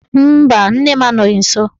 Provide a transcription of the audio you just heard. Mba, nne m anọghị nsọ